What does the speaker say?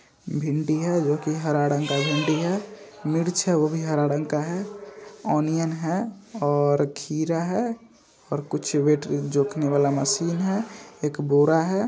भिंडी है जो कि हरा रंग का भिंडी है। मिर्च है वो भी हरा रंग का है ओनियन है और खीरा है और कुछ वेट जोखने वाला मशीन है एक बोरा है।